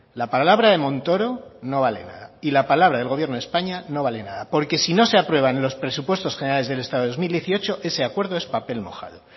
la palabra de montoro no vale nada y la palabra del gobierno de españa no vale nada porque si no se aprueban en los presupuestos generales del estado de dos mil dieciocho ese acuerdo es papel mojado